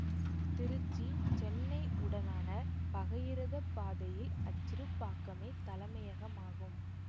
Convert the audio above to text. திருச்சிசென்னை உடனான பகையிரதப் பாதையில் அச்சிறுபாக்கமே தலைமையகமாகும்